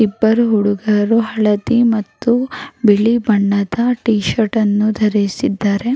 ಇಬ್ಬರು ಹುಡುಗರು ಹಳದಿ ಮತ್ತು ಬಿಳಿ ಬಣ್ಣದ ಟಿ ಶರ್ಟ್ ಅನ್ನು ಧರಿಸಿದ್ದಾರೆ.